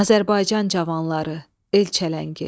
Azərbaycan cavanları, el çələngi.